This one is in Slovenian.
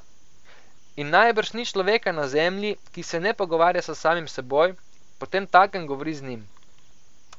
In najbrž ni človeka na zemlji, ki se ne pogovarja s samim s seboj, potemtakem govori z Njim.